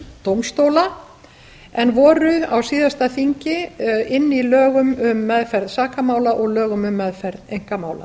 dómstóla en voru á síðasta þingi inni í lögum um meðferð sakamála og lögum um meðferð einkamála